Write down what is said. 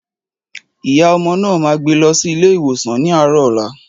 Ìyá ọmọ náà ma gbé lọ sí ilé ìwòsan ní àárò ọ̀la